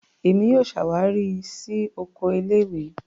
Èmi yóò ṣawari si Oko ilé-ìwé.